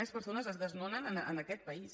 més persones es desnonen en aquest país